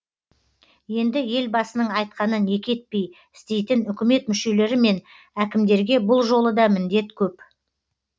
енді елбасының айтқанын екі етпей істейтін үкімет мүшелері мен әкімдерге бұл жолы да міндет көп